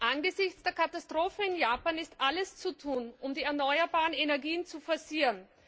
Angesichts der Katastrophe in Japan ist alles zu tun, um die erneuerbaren Energiequellen zu forcieren.